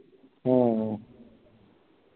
ഉം ഉം